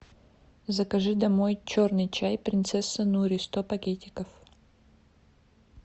закажи домой черный чай принцесса нури сто пакетиков